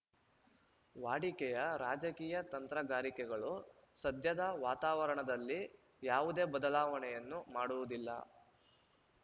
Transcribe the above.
ವಾಡಿಕೆಯ ರಾಜಕೀಯ ತಂತ್ರಗಾರಿಕೆಗಳು ಸದ್ಯದ ವಾತಾವರಣದಲ್ಲಿ ಯಾವುದೇ ಬದಲಾವಣೆಯನ್ನು ಮಾಡುವುದಿಲ್ಲ